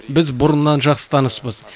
біз бұрыннан жақсы таныспыз